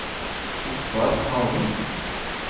Ottar Hagen